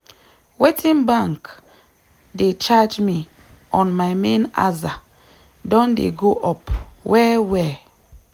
wetin bank dey charge me on my main aza don dey go up well well.